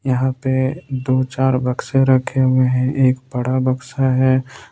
यहां पे दो चार बक्से रखे हुए हैं एक बड़ा बक्सा है।